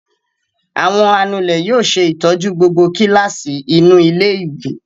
Àwọn anulẹ̀ yóò ṣe ìtọ́jú gbogbo kíláàsì inú ilé-ìwé.